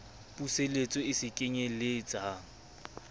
puseletso e se kenyel letsang